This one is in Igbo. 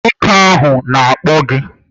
Nwoke ahụ na-akpọ gị